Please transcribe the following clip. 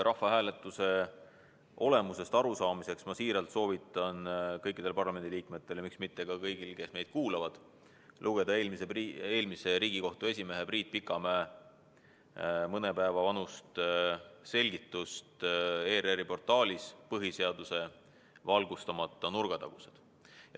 Rahvahääletuse olemusest arusaamiseks soovitan ma siiralt kõikidel parlamendiliikmetel ja miks mitte ka kõigil neil, kes meid kuulavad, lugeda eelmise Riigikohtu esimehe Priit Pikamäe mõne päeva vanust ERR-i portaalis ilmunud selgitust "Põhiseaduse valgustamata nurgatagused".